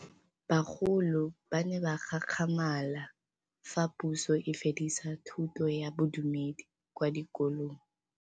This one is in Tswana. Bagolo ba ne ba gakgamala fa Pusô e fedisa thutô ya Bodumedi kwa dikolong.